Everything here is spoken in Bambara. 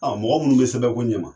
mɔgɔ minnu bɛ sɛbɛn ko ɲɛ ma.